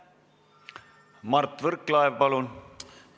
Mart Võrklaev, palun!